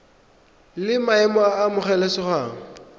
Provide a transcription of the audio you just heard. la maemo a a amogelesegang